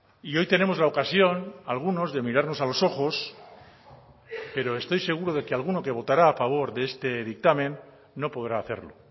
y hoy tenemos la ocasión algunos de mirarnos a los ojos pero estoy seguro de que alguno que votará a favor de este dictamen no podrá hacerlo